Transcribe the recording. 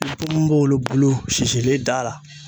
I bi ponponpopopongolon bulu sisilen d'a la